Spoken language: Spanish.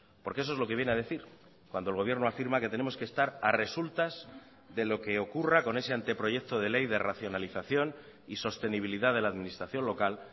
porque eso es lo que viene a decir cuando el gobierno afirma que tenemos que estar a resultas de lo que ocurra con ese anteproyecto de ley de racionalización y sostenibilidad de la administración local